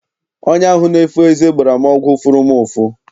Onye ahụ na-efo eze gbara m ọgwụ fụrụ m ụfụ.